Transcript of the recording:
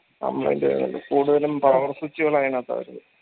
complaint ആയോണ്ട് കൂടുതലും power switch കൾ അയിനാത്ത വരുന്നത്